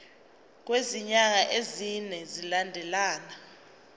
kwezinyanga ezine zilandelana